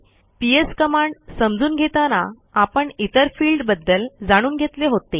PS command समजून घेताना आपण इतर फिल्डबद्दल जाणून घेतले होते